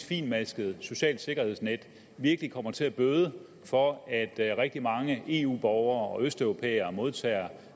fintmasket socialt sikkerhedsnet virkelig kommer til at bøde for at rigtig mange eu borgere og østeuropæere modtager